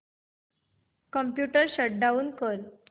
computer shut down कर